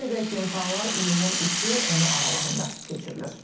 Qeyd edək ki, imtahanlar iyulun 3-ü, onu aralığında keçirilir.